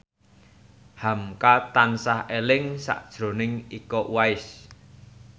hamka tansah eling sakjroning Iko Uwais